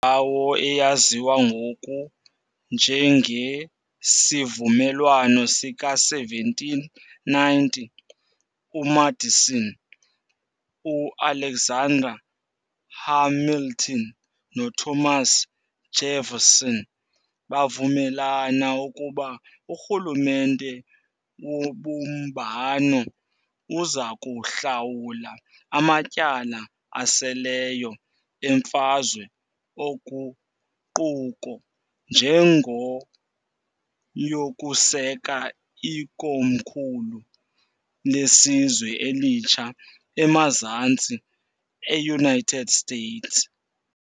Kwindawo eyaziwa ngoku njengesiVumelwano sika-1790, uMadison, uAlexander Hamilton, noThomas Jefferson bavumelana ukuba urhulumente wobumbano uzakuhlawula amatyala aseleyo eMfazwe oguquko ngenjongo yokuseka ikomkhulu lesizwe elitsha eMazantsi eUnited States.